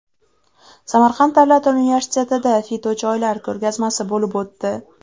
Samarqand davlat universitetida fitochoylar ko‘rgazmasi bo‘lib o‘tdi.